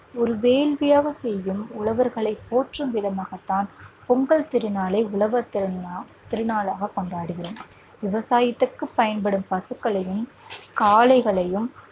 ஒரு வேள்வியாக செய்யும் உழவர்களை போற்றும் விதமாகத்தான் பொங்கல் திருநாளை உழவர் திருநா திருநாளாக கொண்டாடுகிறோம் விவசாயத்திற்கு பயன்படும் பசுக்களையும், காளைகளையும்